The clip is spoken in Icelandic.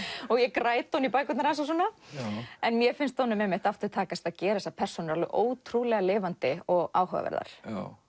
og ég græt ofan í bækurnar hans mér finnst honum takast að gera persónurnar ótrúlega lifandi og áhugaverðar